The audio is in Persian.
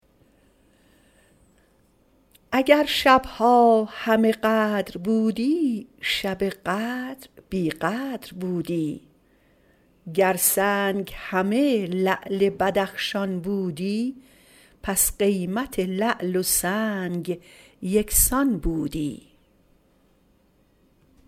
اگر شبها همه قدر بودی شب قدر بی قدر بودی گر سنگ همه لعل بدخشان بودی پس قیمت لعل و سنگ یکسان بودی